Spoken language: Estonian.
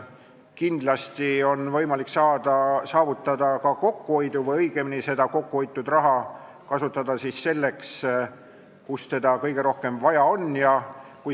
Kindlasti on võimalik saavutada ka kokkuhoidu või õigemini saab seda kokkuhoitud raha kasutada seal, kus seda kõige rohkem vaja on.